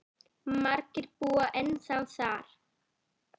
Margir búa ennþá þar.